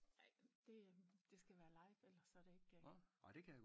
Ej men det øh det skal være live ellers så er det ikke